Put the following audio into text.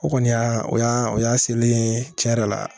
O kɔni y'a o y'a o y'a selen ye tiɲɛ yɛrɛ la